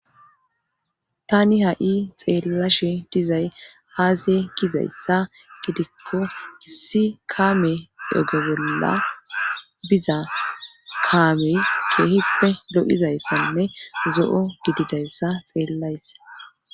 Tani ha7i xeellashe dizay haase gizayssa gidikko issi kaame ego bolla biza kaamey keehippe lo7izayssanne zo7o gididayssa xeellays.